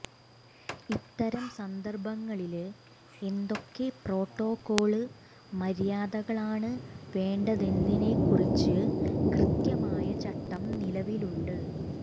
ഇത്തരം സന്ദര്ഭങ്ങളില് എന്തൊക്കെ പ്രോട്ടോകോള് മര്യാദകളാണ് വേണ്ടതെന്നതിനെക്കുറിച്ച് കൃത്യമായ ചട്ടം നിലവിലുണ്ട്